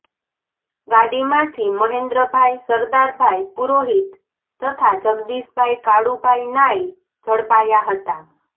ગાડીમાંથી મહેન્દ્રભાઈ સરદારભાઈ પુરોહિત તથા જગદીશભાઈ કાળુભાઈ નાઈ ઝડપાયા હતા